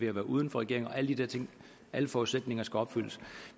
at være uden for regering og alle de der ting alle forudsætninger skal opfyldes